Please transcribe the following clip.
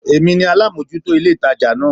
Èmi ni alámòjútó ilé ìtajà náà